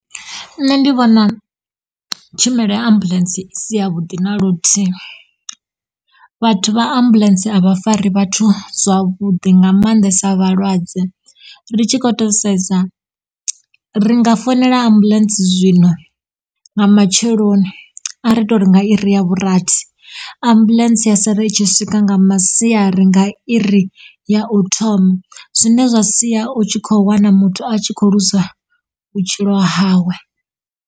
Nṋe ndi vhona tshumelo ya ambuḽentse i si yavhuḓi na luthihi. Vhathu vha ambuḽentse a vha fari vhathu zwavhuḓi nga mannḓesa vhalwadze ri tshi kho to sedza ri nga fonela ambuḽentse zwino nga matsheloni a ri to ri nga iri ya vhurathi ambuḽentse ya sala itshi swika nga masiari nga iri ya u thoma zwine zwa sia u tshi kho wana muthu a tshi kho luza vhutshilo hawe.